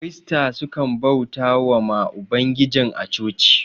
kirista sukan bautawa ma ubangijin a chochi